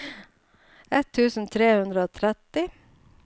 ett tusen tre hundre og tretti